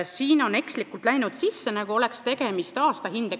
Siia on ekslikult läinud kirja, nagu oleks tegemist aastakuluga.